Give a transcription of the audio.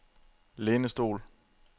lænestol